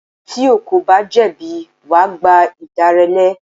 Tí o kò bá jẹ̀bi, wà gba ìdáláre.